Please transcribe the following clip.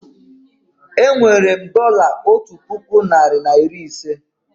Enwere m dọla otu puku narị na iri ise